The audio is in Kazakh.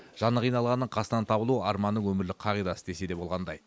жаны қиналғанның қасынан табылу арманның өмірлік қағидасы десе де болғандай